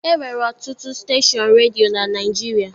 E nwere ọtụtụ steshọn redio na Naịjirịa.